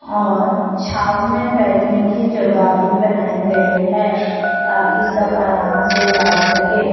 और छांव में बैठने की जगह भी बनाई गई है ताकि सब आराम से बैठ सके।